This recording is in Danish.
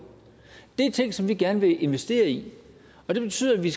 det er ting som vi gerne vil investere i og det betyder at vi